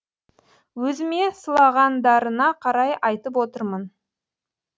өзіме сылағандарына қарай айтып отырмын